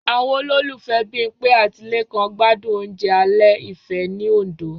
Àwọn olólùfẹ́ Bímpé àti Lékan gbádùn oúnjẹ alẹ́ ìfẹ́ ní Òndó